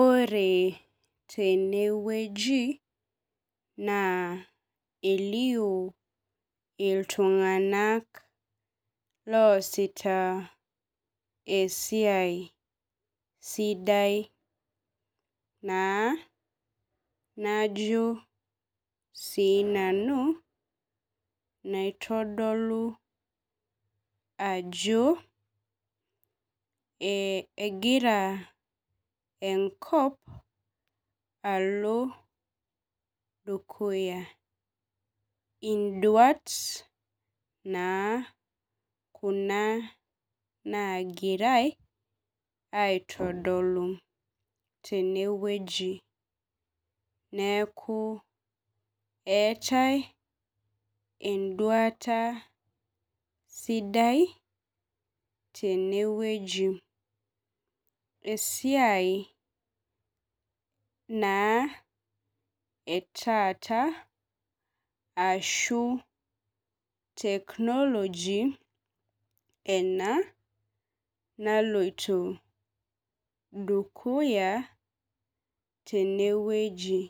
Ore tenewueji naa elio iltunganak loosita esiai sidai naa najo si nanu naitodolu ajo egira enkop alo dukuya induat naa kuna nagirai aitodolu tenewueji neaku eetae enduata sidai tenewueji esiai na etaata ashu technology ena naloito dukuya tenewueji